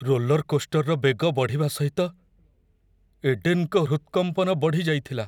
Roller କୋଷ୍ଟର୍‌ର ବେଗ ବଢ଼ିବା ସହିତ ଏଡେନ୍‌ଙ୍କ ହୃତ୍‌କମ୍ପନ ବଢ଼ିଯାଇଥିଲା।